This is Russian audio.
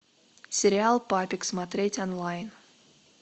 сериал папик смотреть онлайн